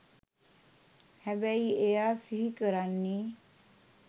හැබැයි එයා සිහිකරන්නෙ